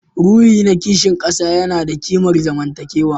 Ruhi na kishin kasa yana da kimar zamantakewa